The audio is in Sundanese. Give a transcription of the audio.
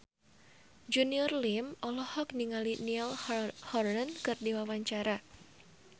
Junior Liem olohok ningali Niall Horran keur diwawancara